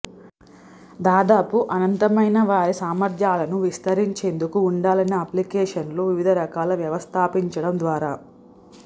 దాదాపు అనంతమైన వారి సామర్థ్యాలను విస్తరించేందుకు ఉండాలనే అప్లికేషన్లు వివిధ రకాల వ్యవస్థాపించడం ద్వారా